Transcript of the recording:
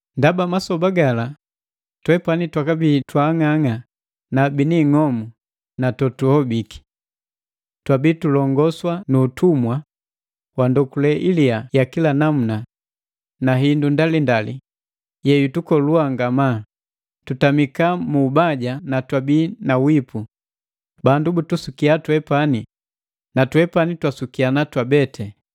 Ndaba masoba gala twepani twakabii twaang'ang'a na biniing'omu na totuhobiki. Twabii tulongoswa nu utumwa wa ndokule iliyaa ya kila namuna na hindu ndalindali yeyutukolua ngamaa. Tutamika mu ubaja na twabii na wipu, bandu butusukia twepani na twepani twasukiana twabeti.